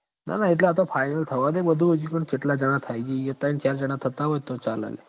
ના ના એટલ આ તો file થવા દે બધું હજી પણ ચેટલા જણા થઇએ છીએ તૈણ ચાર જણા થતા હોય તો ચાલ લ્યા